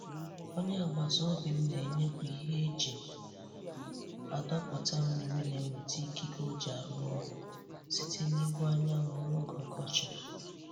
Onye agbata obi m na-enyepụ ihe e ji adọpụta mmiri na-enweta ikike oji arụ ọrụ site n'ihu anyanwụ n'oge ọkọchị.